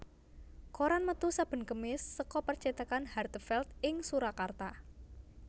Koran metu saben Kemis seka percétakan Hartevelt ing Surakarta